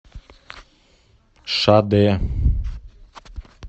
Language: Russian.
шадэ